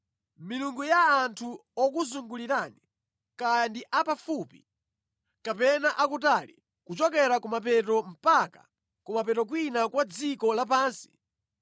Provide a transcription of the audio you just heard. milungu ya anthu okuzungulirani, kaya ndi apafupi kapena akutali, kuchokera kumapeto mpaka kumapeto kwina kwa dziko lapansi),